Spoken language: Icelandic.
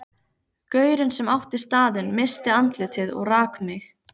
Gaurinn sem átti staðinn missti andlitið og rak mig.